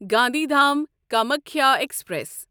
Gandhidham Kamakhya express